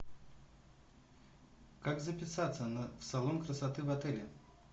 как записаться на в салон красоты в отеле